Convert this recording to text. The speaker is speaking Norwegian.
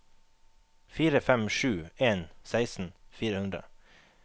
fire fem sju en seksten fire hundre